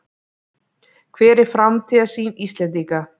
Hver er framtíðarsýn Íslendinga?